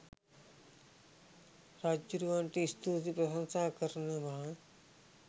රජ්ජුරුවන්ට ස්තුති ප්‍රශංසා කරනවා